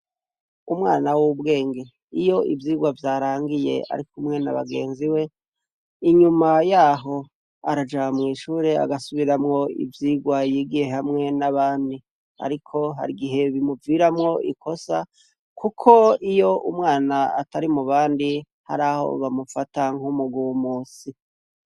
Umwana w'ubwenge iyo ivyirwa vyarangiye, ariko umwena bagenzi we inyuma yaho arajamw'ishure agasubiramwo ivyirwa yigiye hamwe n'abandi, ariko hari igihe bimuviramwo ikosa, kuko iyo umwana atari mu bandi hari aho bamufatakwo ho umuguw musi.